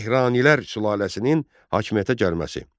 Mehranilər sülaləsinin hakimiyyətə gəlməsi.